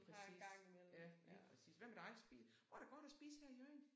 Lige præcis ja lige præcis. Hvad med dig spiser hvor er der godt at spise her i Hjørring?